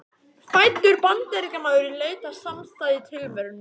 Fæddur Bandaríkjamaður í leit að samastað í tilverunni.